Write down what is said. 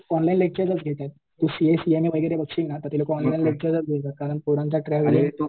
lecture घेतायेत ते CA CMA बघशील ना तर ते लोकं कारण पोरांचा ट्रायल हे